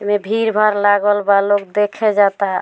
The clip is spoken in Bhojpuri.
एने भीड़-भाड़ लागल बा लोग देखे जाता।